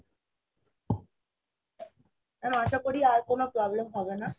Madam আশা করি আর কোনো প্রব্লেম হবে না